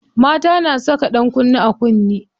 Mata na saka ɗankunne a kunne.